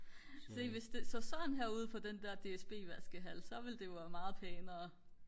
se hvis det så sådan her ud på den der DSB vaskehal så ville det jo være meget pænere